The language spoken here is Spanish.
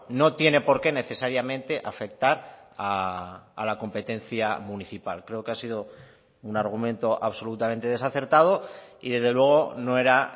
no tiene porqué necesariamente afectar a la competencia municipal creo que ha sido un argumento absolutamente desacertado y desde luego no era